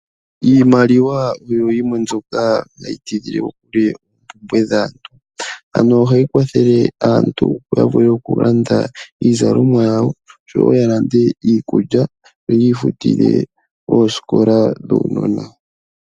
Iimaliwa Oyo yimwe mbyoka hayi pwedha aantu Ano ohayi kwathele aantu yalande iizalomwa yawo, iikulya oshowo okufutila oosikola dhuunona wawo.